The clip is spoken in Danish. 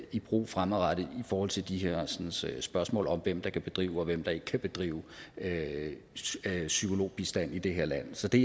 i brug fremadrettet i forhold til de hersens spørgsmål om hvem der kan bedrive og hvem der ikke kan bedrive psykologbistand i det her land så det